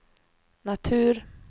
natur